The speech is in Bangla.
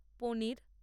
পনীর